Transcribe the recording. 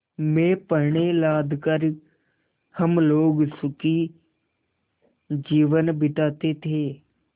में पण्य लाद कर हम लोग सुखी जीवन बिताते थे